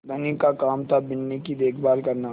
धनी का काम थाबिन्नी की देखभाल करना